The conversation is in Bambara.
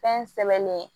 Fɛn sɛmɛni